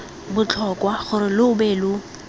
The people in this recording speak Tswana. botlhokwa gore lo be lo